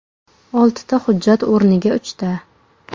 Oltita hujjat o‘rniga uchta.